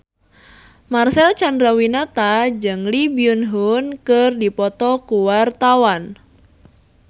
Marcel Chandrawinata jeung Lee Byung Hun keur dipoto ku wartawan